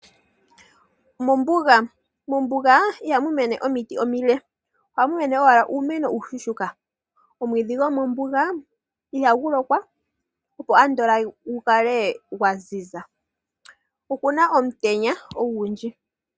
Mombuga. Mombuga ihamu mene omiti omile. Ohamu mene owala uumeno uushuushuka. Omwiidhi gwomombuga ihagu lokwa, gu kale andola gwa ziza. Oku na omutenya ogundji.